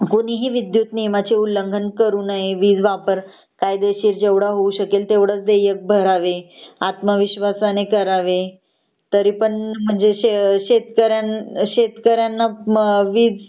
कुणीही विद्युत गुन्ह्याचे उल्लंघन करू नये वीज वापर कायदेशीर जेवढा होऊ शकेल तेव्हढंच देयक भरावे आत्मविश्वासाने करावे तरीपण म्हणजे शेत शेतकरी शेतकऱ्यांना वीज